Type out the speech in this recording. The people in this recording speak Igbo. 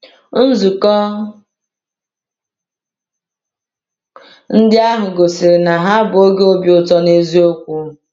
Nzukọ ndị ahụ gosiri na ha bụ oge obi ụtọ n’eziokwu.